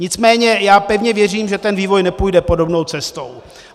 Nicméně já pevně věřím, že ten vývoj nepůjde podobnou cestou.